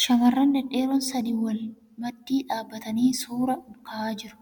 Shamarran dhedheeroon sadii wal maddii dhaabbatanii suura ka'aa jiru.